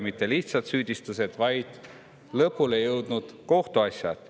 Mitte lihtsalt süüdistused, vaid lõpule jõudnud kohtuasjad.